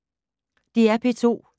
DR P2